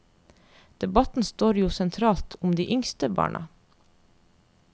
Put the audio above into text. Debatten står jo sentralt om de yngste barna.